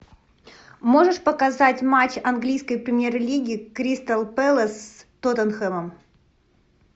можешь показать матч английской премьер лиги кристал пэлас с тоттенхэмом